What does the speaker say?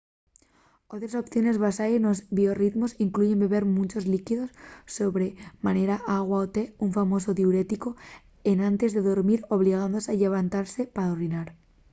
otres opciones basaes nos biorritmos incluyen beber munchos llíquidos sobre manera agua o té un famosu diuréticu enantes de dormir obligándose a llevantase pa orinar